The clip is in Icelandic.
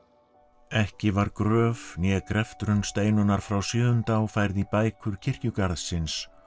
ekki var gröf né greftrun Steinunnar frá Sjöundá færð í bækur kirkjugarðsins